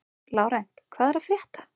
Lárent, hvað er að frétta?